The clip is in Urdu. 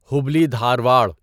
ہبلی دھارواڑ